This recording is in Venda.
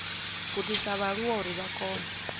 gudisa vhaaluwa uri vha kone